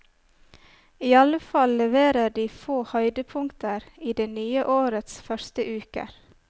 Iallfall leverer de få høydepunkter i det nye årets første uker.